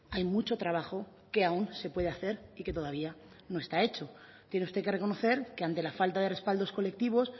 hay mucho trabajo que aún se puede hacer y que todavía no está hecho tiene usted que reconocer que ante la falta de respaldos colectivos